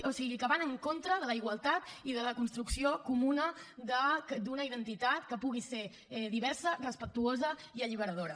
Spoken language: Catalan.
o sigui que van en contra de la igualtat i de la construcció comuna d’una identitat que pugui ser diversa respectuosa i alliberadora